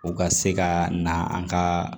U ka se ka na an ka